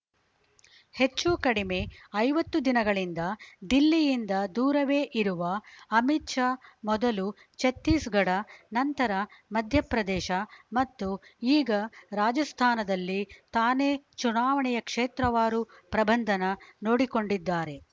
ಹೆಚ್ಚುಕಡಿಮೆ ಐವತ್ತು ದಿನಗಳಿಂದ ದಿಲ್ಲಿಯಿಂದ ದೂರವೇ ಇರುವ ಅಮಿತ್‌ ಶಾ ಮೊದಲು ಛತ್ತೀಸ್‌ಗಢ ನಂತರ ಮಧ್ಯಪ್ರದೇಶ ಮತ್ತು ಈಗ ರಾಜಸ್ಥಾನದಲ್ಲಿ ತಾನೇ ಚುನಾವಣೆಯ ಕ್ಷೇತ್ರವಾರು ಪ್ರಬಂಧನ ನೋಡಿಕೊಂಡಿದ್ದಾರೆ